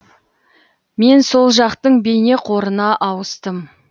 мен сол жақтың бейнеқорына ауыстым